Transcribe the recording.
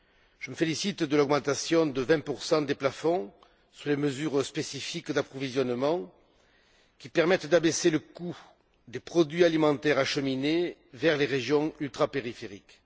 Je me félicite de l'augmentation de 20 des plafonds sur les mesures spécifiques d'approvisionnement, qui permettent d'abaisser le coût des produits alimentaires acheminés vers les régions ultrapériphériques.